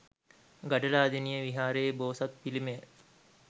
ගඩලාදෙණිය විහාරයේ බෝසත් පිළිමය